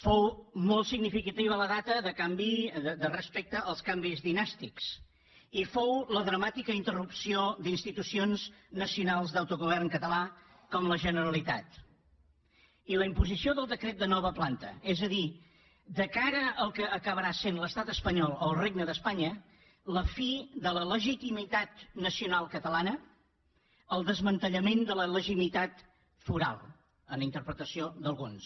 fou molt significativa la data respecte als canvis dinàstics i fou la dramàtica interrupció d’institucions nacionals d’autogovern català com la generalitat i la imposició del decret de nova planta és a dir de cara al que acabarà sent l’estat espanyol o el regne d’espanya la fi de la legitimitat nacional catalana el desmantellament de la legitimitat foral en interpretació d’alguns